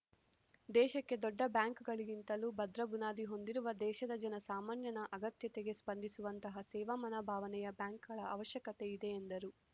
ದೇಶಕ್ಕೆ ದೊಡ್ಡ ಬ್ಯಾಂಕ್‌ಗಳಿಗಿಂತಲೂ ಭದ್ರ ಬುನಾದಿ ಹೊಂದಿರುವ ದೇಶದ ಜನ ಸಾಮಾನ್ಯನ ಅಗತ್ಯತೆಗೆ ಸ್ಪಂದಿಸುವಂತಹ ಸೇವಾ ಮನೋಭಾವನೆಯ ಬ್ಯಾಂಕ್‌ಗಳ ಅವಶ್ಯಕತೆ ಇದೆ ಎಂದರು